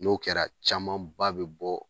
N'o kɛra camanba bi bɔ